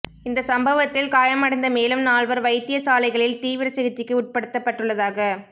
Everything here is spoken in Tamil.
இந்த சம்பவத்தில் காயமடைந்த மேலும் நால்வர் வைத்தியசாலைகளில் தீவிர சிகிச்சைக்கு உட்படுத்தப்பட்டுள்ளதாக